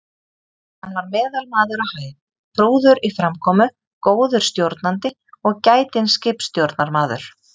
Hann var meðalmaður á hæð, prúður í framkomu, góður stjórnandi og gætinn skipstjórnarmaður.